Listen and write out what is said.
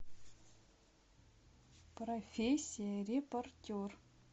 профессия репортер